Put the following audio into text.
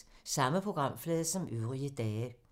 Samme programflade som øvrige dage